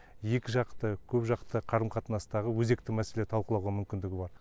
екіжақты көп жақты қарым қатынастағы өзекті мәселелерді талқылауға мүмкіндігі бар